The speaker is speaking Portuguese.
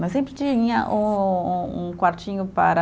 Mas sempre tinha um um um quartinho para